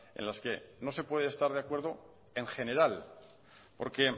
en las que no se puede estar de acuerdo en general porque